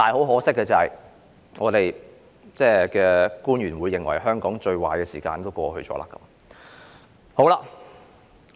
可惜的是，我們的特首現在認為香港最壞的時間已經過去。